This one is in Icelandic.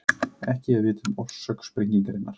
Ekki er vitað um orsök sprengingarinnar